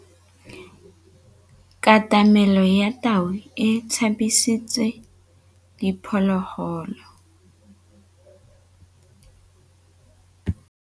Katamêlô ya tau e tshabisitse diphôlôgôlô.